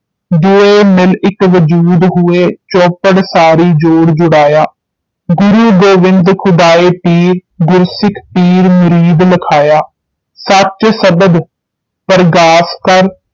ਦੁਇ ਮਿਲਿ ਇਕ ਵਜੂਦ ਹੁਇ ਚਉਪਰ ਸਾਰੀ ਜੋੜਿ ਜੁਝਾਇਆ ਗੁਰੂ ਗੋਵਿੰਦ ਖੁਦਾਇ ਪੰਚ ਗੁਰਸਿਖ ਪੀਰ ਮੁਹੰਦੁ ਲਖਾਇਆ ਸਚੁ ਸਬਦ ਪਰਗਾਸ ਕਰਿ